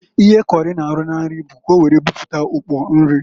Ihe kọrị na-arụ na nri bụ ka owere buputa ukpo nri.